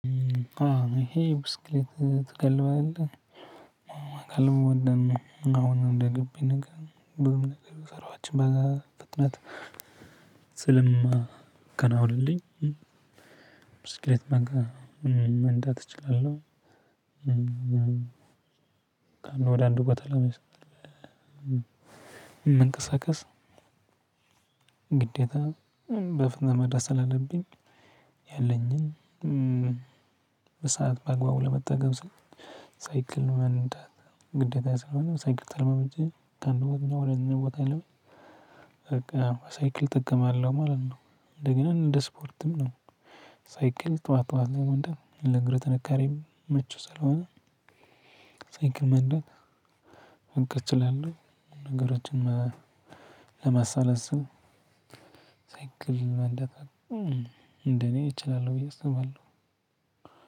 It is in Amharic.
አዎ ይሄ ብስክሌት ትጋልባለህ? አወ መጋለብ እወዳለሁ አሁን እንደግቢ ነገር ብዙ ነገር የሰራኋቸው በዛ ፍጥነት ስለሚያከናውንልኝ ብስክሌት መጋለብ መንዳት እችላለሁ። ከአንድ ወደ አንድ ቦታ ለመንቀሳቀስ። ግዴታ በፍጥነት መድረስ ስላለብኝ ያለኝን በሰአት በአግባቡ ለመጠቀም ስል ሳይክል መንዳት ግዴታዬ ስለሆነ ሳይክል ተለማምጄ ከአንድ ቦታ ወደ አንድ ቦታም በቃ። በሳይክል እጠቀማለሁ ማለት ነው እንደ ገና እንደ ስፖርትም ነው። ሳይክል ጠዋት ጠዋት መንዳት ለእግር ጥንካሬም ምቹ ስለሆነ። ሳይክል መንዳት እንቅስቃሴ ላይ ነው። ነገሮችን ለማሳለስም ሳይክል መንዳት እንደኔ እችላለሁ ብዬ እስባለሁ።